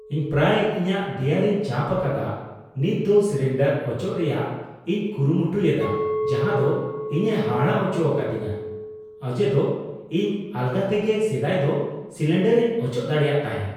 ᱤᱧ ᱯᱨᱟᱭ ᱤᱧᱟᱹᱜ ᱫᱮᱭᱟᱨᱮᱧ ᱪᱟᱯ ᱟᱠᱟᱫᱟ ,ᱱᱤᱛᱫᱚ ᱥᱤᱞᱤᱱᱰᱟᱨ ᱚᱪᱚᱜ ᱨᱮᱭᱟᱜ ᱤᱧ ᱠᱩᱨᱩᱢᱩᱴᱩᱭᱮᱫᱟ ᱡᱟᱦᱟᱸᱫᱚ ᱤᱧᱮ ᱦᱟᱦᱟᱲᱟᱜ ᱦᱚᱪᱚ ᱟᱠᱟᱫᱤᱧᱟᱹ ᱚᱡᱮᱫᱚ ᱤᱧ ᱟᱞᱜᱟᱛᱮᱜᱮ ᱥᱮᱫᱟᱭ ᱫᱚ ᱥᱤᱞᱤᱱᱰᱟᱨᱤᱧ ᱚᱪᱚᱜ ᱫᱟᱲᱮᱭᱟᱜ ᱛᱟᱦᱮᱫ ᱾